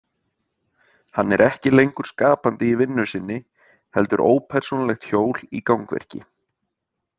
Hann er ekki lengur skapandi í vinnu sinni heldur ópersónulegt hjól í gangverki.